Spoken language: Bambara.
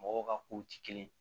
Mɔgɔw ka kow ti kelen ye